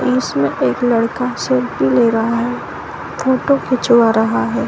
उसमे एक लड़का सेल्फी ले रहा है फोटो खिचवा रहा है।